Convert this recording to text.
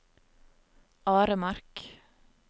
Aremark